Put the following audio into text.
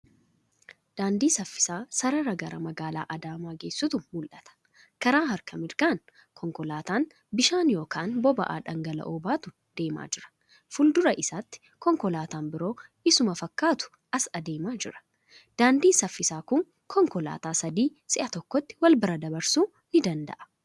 Daandii saffisaa sarara gara magaalaa Adaamaa geessutu mul'ata. Kara harka mirgaan konkoolataan bishaan yookan boba'aa dhangala'oo baatu deemaa jira. Fuuldura isaatti konkolaataan biroo isuma fakkaatu as adeemaa jira. Daandiin saffisaa kun konkolaataa sadii si'a tokkotti walbira dabarsuu ni danda'a.